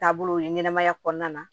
Taabolo ye ɲɛnɛmaya kɔnɔna na